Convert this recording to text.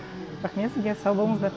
рахмет сізге сау болыңыздар